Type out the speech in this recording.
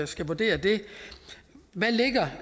skal vurdere det hvad lægger